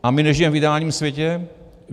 A my nežijeme v ideálním světě.